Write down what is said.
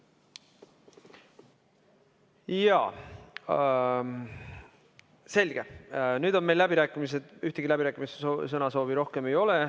Jaa, selge, nüüd on meil läbirääkimised, ühtegi sõnasoovi rohkem ei ole.